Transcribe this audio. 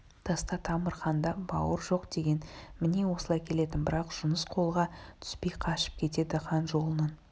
таста тамыр ханда бауыр жоқдеген міне осылай келетін бірақ жұныс қолға түспей қашып кетеді хан жолының